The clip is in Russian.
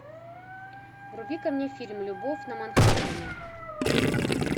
вруби ка мне фильм любовь на манхэттене